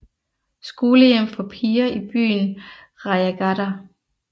Skolehjem for piger i byen Rayagada